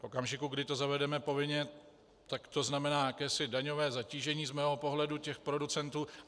V okamžiku, kdy to zavedeme povinně, tak to znamená jakési daňové zatížení z mého pohledu těch producentů.